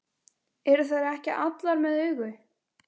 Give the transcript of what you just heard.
Eru þær ekki allar með augu?